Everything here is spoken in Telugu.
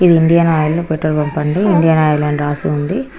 ఇది ఇండియన్ ఆయిల్ పెట్రోల్ బంక్ అండి ఇండియన్ ఆయిల్ అని రాసి ఉంది.